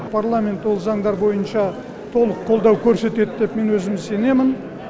парламент ол заңдар бойынша толық қолдау көрсетеді деп мен өзім сенемін